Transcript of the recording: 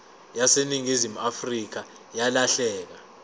yaseningizimu afrika yalahleka